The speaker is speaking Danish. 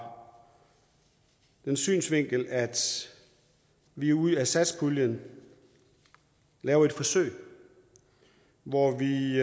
den synsvinkel at vi ud af satspuljen laver et forsøg hvor vi